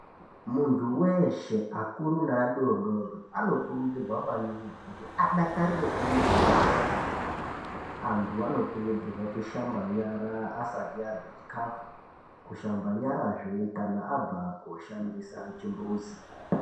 Muntu weshe akuru neadodori anokurudzirwa maningi kuti adakarire kwemene kushamba nyara. Antu anokurudzirwa kushamba nyara asati arya chikafu nekushamba nyara zve kana abva koshandisa chimbuzi